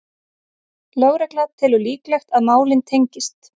Lögregla telur líklegt að málin tengist